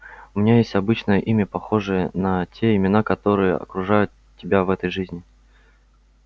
у меня есть обычное имя похожее на те имена которые окружают тебя в этой жизни